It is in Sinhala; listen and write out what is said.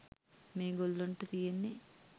මේ ගොල්ලොන්ට තියෙන්නේ